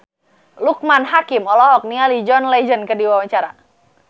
Loekman Hakim olohok ningali John Legend keur diwawancara